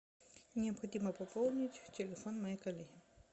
необходимо пополнить телефон моей коллеге